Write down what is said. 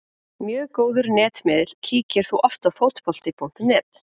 Mjög góður netmiðill Kíkir þú oft á Fótbolti.net?